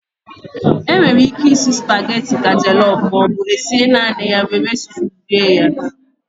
E nwere íké isi spageti ka jọlọf maọbụ esie naanị ya were stuu rie ya.